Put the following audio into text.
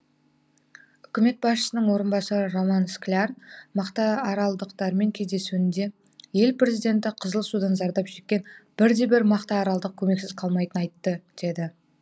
үкімет басшысының орынбасары роман скляр мақтааралдықтармен кездесуінде ел президенті қызыл судан зардап шеккен бір де бір мақтааралдық көмексіз қалмайтынын айтты деді